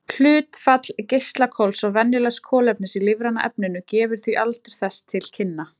Hlutfall geislakols og venjulegs kolefnis í lífræna efninu gefur því aldur þess til kynna.